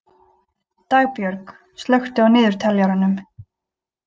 Dagbjörg, slökktu á niðurteljaranum.